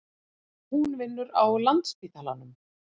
Hún vinnur á Landspítalanum.